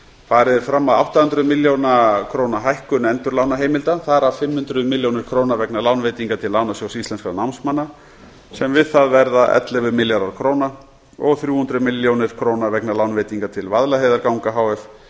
farið er fram á átta hundruð milljóna króna hækkun endurlánaheimilda þar af fimm hundruð milljón krónur vegna lánveitinga til lánasjóðs íslenskra námsmanna sem við það verða ellefu milljarðar króna og þrjú hundruð milljón krónur vegna lánveitinga til vaðlaheiðarganga h f